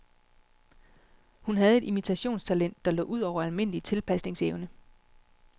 Hun havde et imitationstalent, der lå ud over almindelig tilpasningsevne.